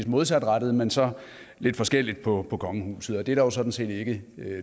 modsatrettet men så lidt forskelligt på kongehuset og det er der jo sådan set ikke